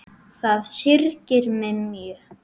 Það syrgir mig mjög.